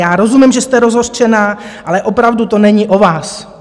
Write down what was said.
Já rozumím, že jste rozhořčená, ale opravdu to není o vás.